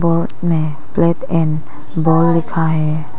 Board में plate and ball लिखा है।